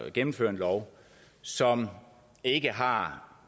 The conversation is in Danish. at gennemføre en lov som ikke har